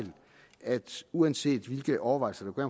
at uanset hvilke overvejelser man gør